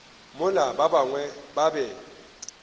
mola ba bangwe ba be